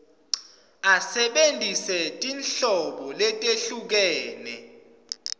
asebentise tinhlobo letehlukene